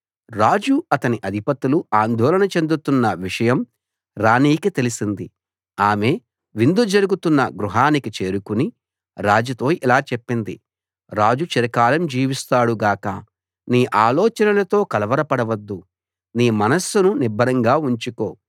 రాజు అతని అధిపతులు ఆందోళన చెందుతున్న విషయం రాణికి తెలిసింది ఆమె విందు జరుగుతున్న గృహానికి చేరుకుని రాజుతో ఇలా చెప్పింది రాజు చిరకాలం జీవిస్తాడు గాక నీ ఆలోచనలతో కలవరపడవద్దు నీ మనస్సును నిబ్బరంగా ఉంచుకో